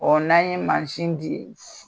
O n'an ye mansin di